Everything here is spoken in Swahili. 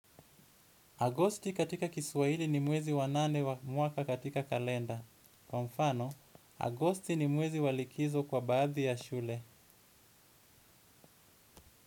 Agosti katika kiswahili ni mwezi wanane wa mwaka katika kalenda. Kwa mfano, august ni mwezi wa likizo kwa baadhi ya shule.